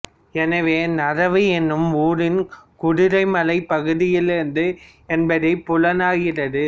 எனவே நறவு என்னும் ஊரும் குதிரைமலைப் பகுதியில் இருந்தது என்பது புலனாகிறது